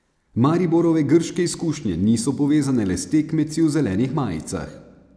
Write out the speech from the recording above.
Mariborove grške izkušnje niso povezane le s tekmeci v zelenih majicah.